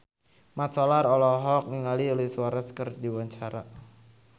Mat Solar olohok ningali Luis Suarez keur diwawancara